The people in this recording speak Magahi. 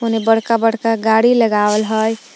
एने बड़का बड़का गादी लगावल हइ ।